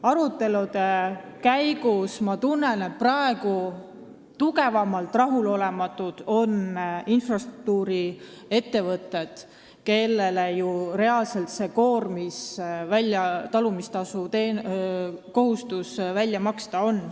Arutelude põhjal tunnen, et kõige rohkem on rahulolematud praegu infrastruktuuriettevõtted, kellel on reaalne kohustus või koormis talumistasu välja maksta.